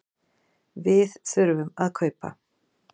Við þurfum að kaupa.